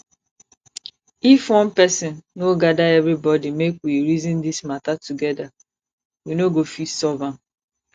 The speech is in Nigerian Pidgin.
if one person no gather everybody make we reason dis matter together we no go fit solve am